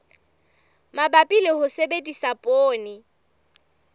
mabapi le ho sebedisa poone